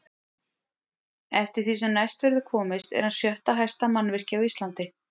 Eftir því sem næst verður komist er hann sjötta hæsta mannvirki á Íslandi.